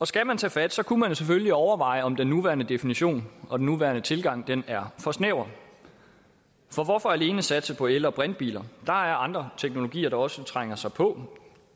skal man tage fat kunne man jo selvfølgelig overveje om den nuværende definition og den nuværende tilgang er for snæver for hvorfor alene satse på el og brintbiler der er andre teknologier der også trænger sig på